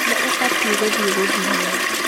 Nĩ ũbatiĩ gũthiĩ gũthimwo.